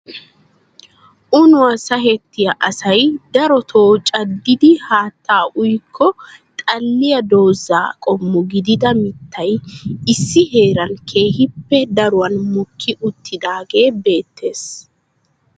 Uunuwa sahettiya asay darotoo cadidi haatta uyyikko xalliya dooza qommo gidida mittay issi heeran keehippe daruwan mokki uttidaage beettees .